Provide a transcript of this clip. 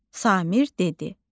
Samir dedi: